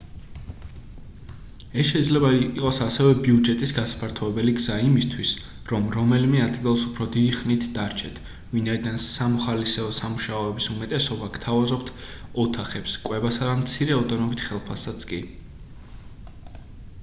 ეს შეიძლება იყოს ასევე ბიუჯეტის გასაფართოებელი გზა იმისთვის რომ რომელიმე ადგილას უფრო დიდი ხნით დარჩეთ ვინაიდან სამოხალისეო სამუშაოების უმეტესობა გთავაზობთ ოთახებს კვებასა და მცირე ოდენობით ხელფასსაც კი